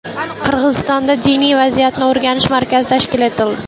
Qirg‘izistonda diniy vaziyatni o‘rganish markazi tashkil etildi.